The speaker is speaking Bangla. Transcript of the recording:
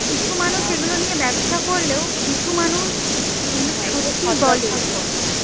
মানে কিছু মানুষ আছে ব্যবসা করলেও কিছু মানুষ এগুলো সত্যি বলে